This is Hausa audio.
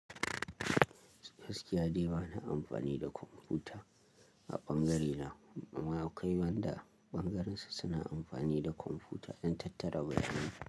Gaskiya dai ba na amfani da kwamfuta, a ɓangarena. Amma akwai wanda, ɓangarinsu suna amfani da kwamfuta, dan tattara bayanai.